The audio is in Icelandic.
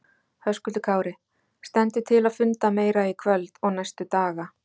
Höskuldur Kári: Stendur til að funda meira í kvöld og næstu daga?